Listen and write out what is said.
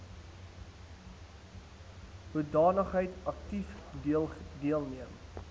hoedanigheid aktief deelneem